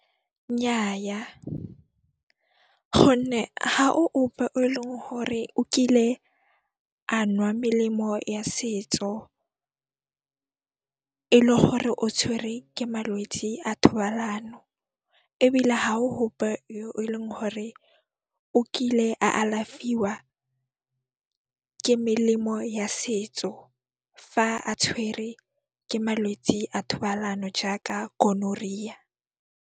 Nnyaa, gonne ha o ope o e leng hore o kile a nwa melemo ya setso e le gore o tshwerwe ke malwetsi a thobalano ebile ha o yo eleng hore o kile a alafiwa ke melemo ya setso fa a tshwere ke malwetse a thobalano jaaka gonorrhea.